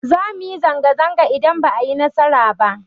Za mu yi zanga-zanga idan ba mu yi nasara ba.